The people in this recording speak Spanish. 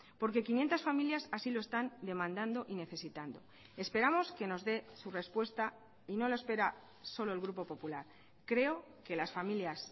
porque quinientos familias así lo están demandando y necesitando esperamos que nos dé su respuesta y no lo espera solo el grupo popular creo que las familias